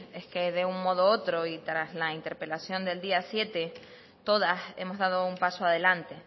es que de un modo u otro y tras la interpelación del día siete todas hemos dado un paso adelante